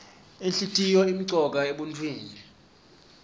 inhlitiyoo imcoka emuntfwini